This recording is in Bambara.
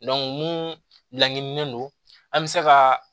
mun laɲininen don an bɛ se ka